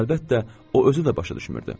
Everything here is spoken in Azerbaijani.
Amma əlbəttə o özü də başa düşmürdü.